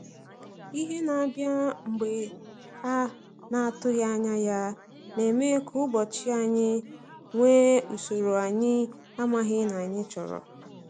Ihe na-abịa mgbe a n'atụghị anya ya, na-eme ka ụbọchị anyị nwee usoro anyị amaghi na anyị chọrọ.